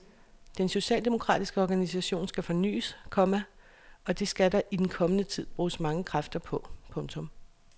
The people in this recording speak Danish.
Den socialdemokratiske organisation skal fornyes, komma og det skal der i den kommende tid bruges mange kræfter på. punktum